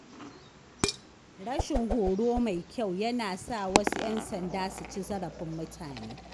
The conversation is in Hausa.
Rashin horo mai kyau yana sa wasu ‘yan sanda su ci zarafin mutane.